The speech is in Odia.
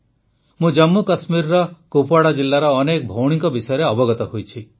ମୁଁ ଜମ୍ମୁ କଶ୍ମୀରର କୁପୱାଡା ଜିଲ୍ଲାର ଅନେକ ଭଉଣୀଙ୍କ ବିଷୟରେ ଅବଗତ ହୋଇଛି